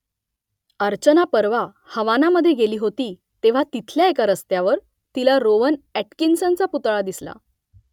अर्चना परवा हवानामधे गेली होती तेव्हा तिथल्या एका रस्त्यावर तिला रोवन अॅटकिन्सनचा पुतळा दिसला